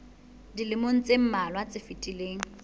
dilemong tse mmalwa tse fetileng